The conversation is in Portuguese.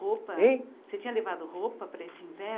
Roupa? Hein? Você tinha levado roupa para esse inverno?